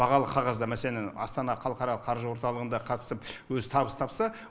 бағалы қағазда мәселен астана халықаралық қаржы орталығында қатысып өзі табыс тапса